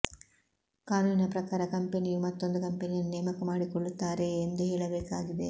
ಕಾನೂನಿನ ಪ್ರಕಾರ ಕಂಪೆನಿಯು ಮತ್ತೊಂದು ಕಂಪನಿಯನ್ನು ನೇಮಕ ಮಾಡಿಕೊಳ್ಳುತ್ತಾರೆಯೇ ಎಂದು ಹೇಳಬೇಕಾಗಿದೆ